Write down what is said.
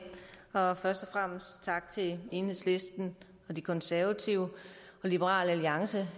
og først og fremmest tak til enhedslisten og de konservative og liberal alliance